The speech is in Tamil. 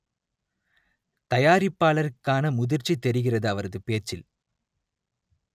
தயாரிப்பாளருக்கான முதிர்ச்சி தெரிகிறது அவரது பேச்சில்